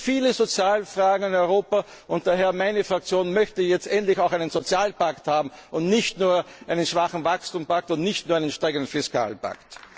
oder zugewanderten Mitbürger. Es gibt viele soziale Fragen in Europa, und daher möchte meine Fraktion jetzt endlich auch einen Sozialpakt haben, und nicht nur einen schwachen Wachstumspakt, und nicht nur